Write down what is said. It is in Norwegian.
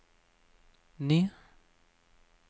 ny